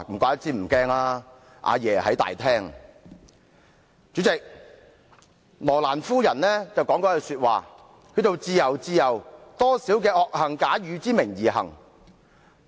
代理主席，羅蘭夫人曾說過一句話："自由，自由，多少罪惡假汝之名而行！